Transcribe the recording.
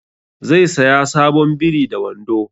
Zai saya sabon biri da wando